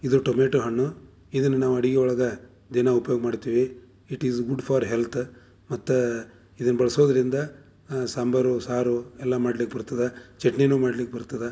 ಇದು ಟೊಮೊಟೊ ಹಣ್ಣು ಇದನ್ನ ನಾವು ಅಡಿಗೆ ಒಳಗ ದಿನ ಉಪಯೋಗ್ ಮಾಡ್ತೀವಿ it is good for health ಮತ್ತೆ ಇದನ್ನ್ ಬಳ್ಸೋದ್ರಿಂದ ಆಹ್ ಸಾಂಬಾರು ಸಾರು ಎಲ್ಲಾ ಮಾಡ್ಲಿಕ್ಕ್ ಬರ್ತದಾ ಚಟ್ನಿ ನೂ ಮಾಡ್ಲಿಕ್ ಬರ್ತದಾ.